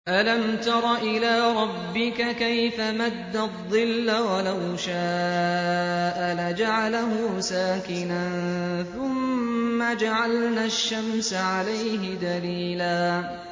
أَلَمْ تَرَ إِلَىٰ رَبِّكَ كَيْفَ مَدَّ الظِّلَّ وَلَوْ شَاءَ لَجَعَلَهُ سَاكِنًا ثُمَّ جَعَلْنَا الشَّمْسَ عَلَيْهِ دَلِيلًا